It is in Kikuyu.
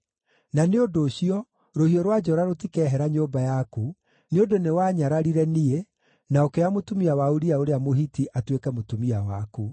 Na nĩ ũndũ ũcio, rũhiũ rwa njora rũtikeehera nyũmba yaku, nĩ ũndũ nĩwaanyararire niĩ, na ũkĩoya mũtumia wa Uria ũrĩa Mũhiti atuĩke mũtumia waku.’